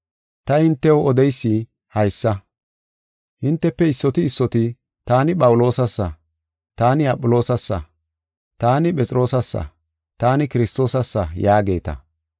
Ta hintew odeysi haysa: hintefe issoti issoti, “Taani Phawuloosasa; taani Aphiloosasa; taani Phexroosassa; taani Kiristoosassa” yaageeta.